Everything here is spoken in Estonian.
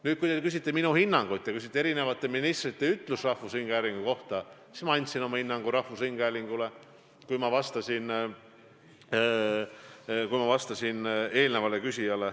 Nüüd, kui te küsite minu hinnangut eri ministrite ütluste kohta, mis puudutasid rahvusringhäälingut, siis ma andsin oma hinnangu rahvusringhäälingule, kui ma vastasin eelmisele küsijale.